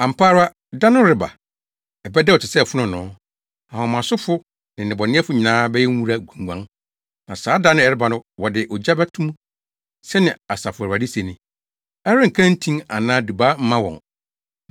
“Ampa ara, da no reba; ɛbɛdɛw te sɛ fononoo. Ahomasofo ne nnebɔneyɛfo nyinaa bɛyɛ nwura gunnwan, na saa da a ɛreba no wɔde ogya bɛto mu,” sɛnea Asafo Awurade se ni. “Ɛrenka ntin anaa dubaa mma wɔn.